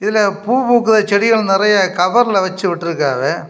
இதுல பூ பூக்குற செடிகள் நெறைய கவர்ல வச்சுவுட்டிருக்காவ.